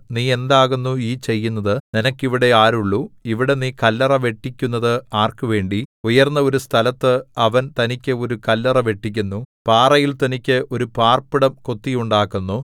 നീ എന്താകുന്നു ഈ ചെയ്യുന്നത് നിനക്ക് ഇവിടെ ആരുള്ളു ഇവിടെ നീ കല്ലറ വെട്ടിക്കുന്നത് ആർക്ക് വേണ്ടി ഉയർന്ന ഒരു സ്ഥലത്ത് അവൻ തനിക്ക് ഒരു കല്ലറ വെട്ടിക്കുന്നു പാറയിൽ തനിക്ക് ഒരു പാർപ്പിടം കൊത്തിയുണ്ടാക്കുന്നു